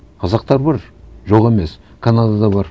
қазақтар бар жоқ емес канадада бар